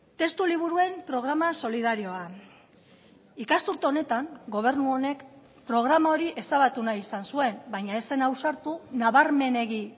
testu liburuen programa solidarioa ikasturte honetan gobernu honek programa hori ezabatu nahi izan zuen baina ez zen ausartu nabarmenegi